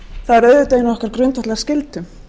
það er auðvitað ein af okkar grundvallarskyldum